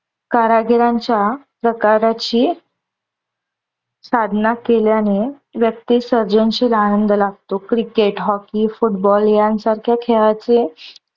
कारागिरांच्या प्रकाराची साधना केल्याने व्यक्तीस सर्जनशील आनंद लाभतो. क्रिकेट, हॉकी, फुटबॉल यानसारख्या खेळाचे